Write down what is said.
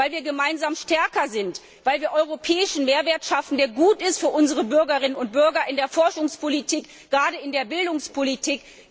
Weil wir gemeinsam stärker sind, weil wir europäischen Mehrwert schaffen, der für unsere Bürgerinnen und Bürger gut ist gerade in der Forschungspolitik und in der Bildungspolitik.